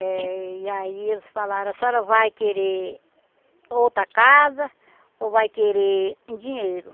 Eh e aí eles falaram, a senhora vai querer outra casa ou vai querer em dinheiro?